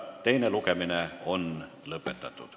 Teine lugemine on lõpetatud.